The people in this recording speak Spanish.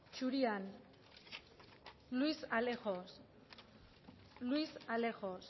zurian luis alejos luis alejos